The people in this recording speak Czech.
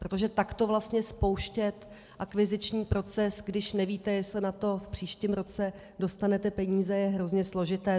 Protože takto vlastně spouštět akviziční proces, když nevíte, jestli na to v příštím roce dostanete peníze, je hrozně složité.